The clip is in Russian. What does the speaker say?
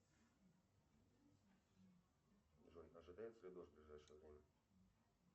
джой ожидается ли дождь в ближайшее время